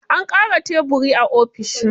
An ƙara tebiri a ofishin.